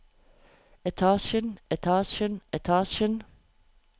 etasjen etasjen etasjen